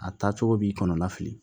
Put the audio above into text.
A taa cogo b'i kɔnɔ la fili